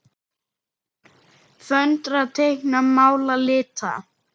Föndra- teikna- mála- lita